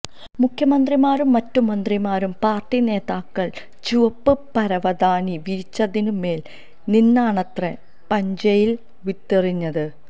മുഖ്യമന്ത്രിമാരും മറ്റ് മന്ത്രിമാരും പാര്ട്ടി നേതാക്കള് ചുവപ്പ് പരവതാനി വിരിച്ചതിന് മേല് നിന്നാണത്രെ പുഞ്ചയില് വിത്തെറിഞ്ഞത്